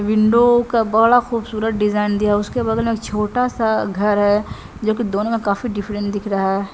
Window का बड़ा खुबसूरत डिजाइन दिया है उसके बगल में छोटा सा घर है जो की दोनों में काफी डिफरेंट दिख रहा है।